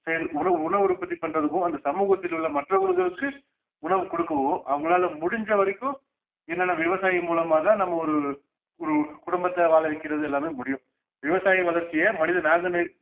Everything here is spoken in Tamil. உணவு உணவு உற்பத்தி பண்றதுக்கும் அந்த சமூகத்தில் உள்ள மற்றவர்களுக்கு உணவு கொடுக்கவோ அவங்களால முடிஞ்ச வரைக்கும் என்னனா விவசாயி மூலமாதான் நம்ம ஒரு ஒருக்குடும்பத்தை வாழ வைக்கிறது எல்லாமே முடியும் விவசாய வளர்ச்சியே மனித நாகனெ~